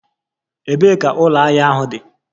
Ebee ka ụlọ ahịa ahụ dị?